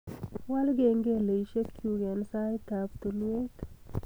Waal kengeleshekchuk eng saitab tulwet